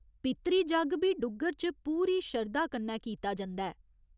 पितृ जग्ग बी डुग्गर च पूरी शरधा कन्नै कीता जंदा ऐ।